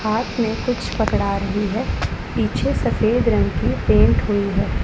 हाथ में कुछ पकड़ा रही है पीछे सफेद रंग की पेंट हुई है।